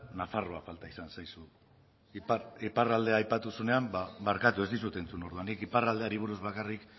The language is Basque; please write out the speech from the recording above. nafarroa falta izan zaizu iparraldea aipatu duzunean ba barkatu ez dizut entzun orduan nik iparraldeari buruz bakarrik